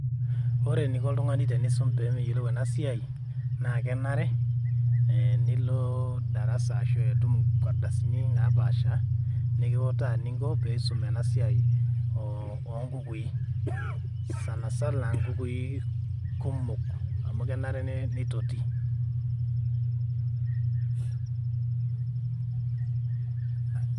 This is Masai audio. Ore eniko oltungani teneisum peyiolou ena siai kenare nilo darasa arashu itum nkardasini napaasha nikiuta eninko ena ena siai oo nkukui Sanasana nkukui oo amu kenare neitotii [break]